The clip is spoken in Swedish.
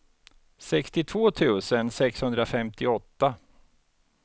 sextiotvå tusen sexhundrafemtioåtta